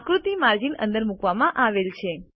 આકૃતિ માર્જિન અંદર મૂકવામાં આવેલ છે